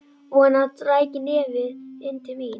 Vonaði að hann ræki nefið inn til mín.